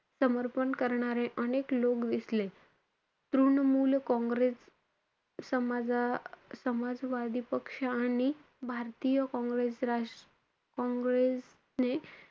समर्पण करणारे अनेक लोक दिसले. तृणमूल काँग्रेस समाजा~ समाजवादी पक्ष आणि भारतीय काँग्रेस~ राष~ काँग्रेसने,